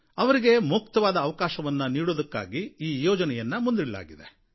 ಅವರಿಗೆ ಮುಕ್ತವಾದ ಅವಕಾಶವನ್ನು ನೀಡುವುದಕ್ಕಾಗಿ ಈ ಯೋಜನೆಯನ್ನು ಮುಂದಿಡಲಾಗಿದೆ